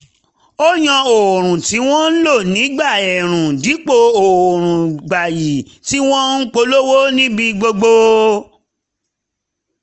ó yan òórùn tí wọ́n ń lò nígbà ẹ̀ẹ̀rùn dípò òórùn gbayì tí wọ́n ń polówó níbi gbogbo